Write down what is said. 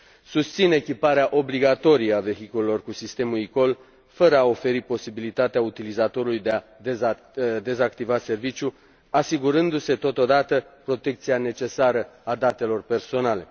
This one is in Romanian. Susțin echiparea obligatorie a vehiculelor cu sistemul eCall, fără a oferi posibilitatea utilizatorului de a dezactiva serviciul, asigurându se totodată protecția necesară a datelor personale.